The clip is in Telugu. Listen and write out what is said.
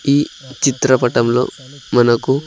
ఈ చిత్రపటంలో మనకు.